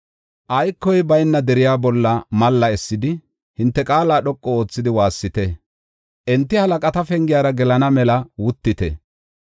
Aykoy bayna deriya bolla malla essidi, hinte qaala dhoqu oothidi waassite; enti halaqata pengiyara gelana mela wuttite.